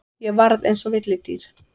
Ég varð eins og villidýr.